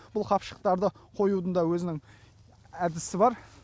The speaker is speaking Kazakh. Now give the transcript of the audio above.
бұл қапшықтарды қоюдың да өзінің әдісі бар